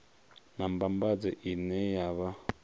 na mbambadzo ine ya vha